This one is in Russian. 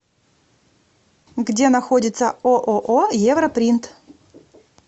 где находится ооо европринт